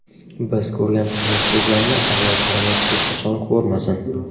Biz ko‘rgan qiyinchiliklarni avlodlarimiz hech qachon ko‘rmasin.